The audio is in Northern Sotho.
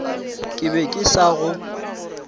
ke be ke sa go